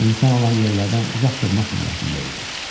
İnsan olan yerlərdən uzaq durmaq niyyətində idi.